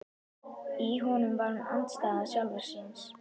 Í honum var hún andstæða sjálfrar sín.